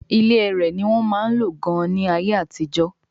ilé ẹrẹ̀ ní wọ́n máa ń lò gan-an ní ayé àtijọ́